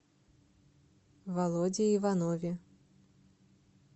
володе иванове